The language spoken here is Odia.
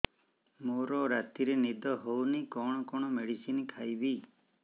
ମୋର ରାତିରେ ନିଦ ହଉନି କଣ କଣ ମେଡିସିନ ଖାଇବି